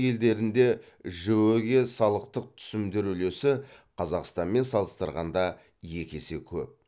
елдерінде жіө ге салықтық түсімдер үлесі қазақстанмен салыстырғанда екі есе көп